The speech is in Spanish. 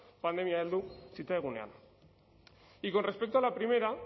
pandemia heldu zitzaigunean y con respecto a la primera